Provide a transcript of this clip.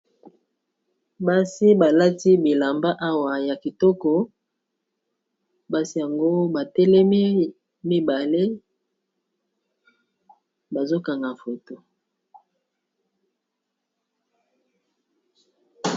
Basi balati bilamba awa ya kitoko basi yango ba telemi mibale bazo kanga foto.